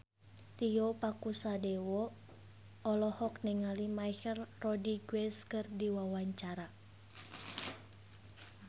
Tio Pakusadewo olohok ningali Michelle Rodriguez keur diwawancara